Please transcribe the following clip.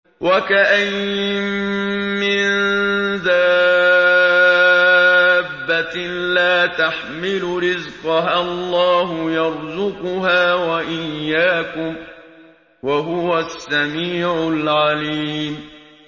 وَكَأَيِّن مِّن دَابَّةٍ لَّا تَحْمِلُ رِزْقَهَا اللَّهُ يَرْزُقُهَا وَإِيَّاكُمْ ۚ وَهُوَ السَّمِيعُ الْعَلِيمُ